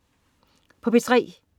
P3: